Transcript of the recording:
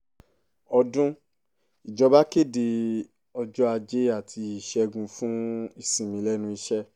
ọdún ìjọba kéde ọjọ́ ajé àti ìṣègùn fún ìsinmi lẹ́nu iṣẹ́